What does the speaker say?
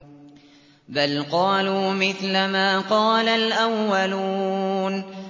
بَلْ قَالُوا مِثْلَ مَا قَالَ الْأَوَّلُونَ